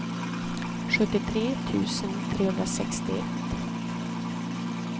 sjuttiotre tusen trehundrasextioett